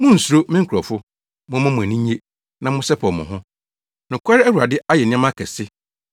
Munnsuro, me nkurɔfo! Momma mo ani nnye, na monsɛpɛw mo ho. Nokware Awurade ayɛ nneɛma akɛse.